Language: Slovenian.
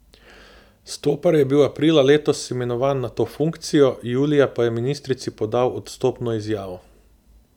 Stopar je bil aprila letos imenovan na to funkcijo, julija pa je ministrici podal odstopno izjavo.